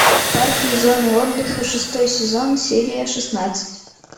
парки и зоны отдыха шестой сезон серия шестнадцать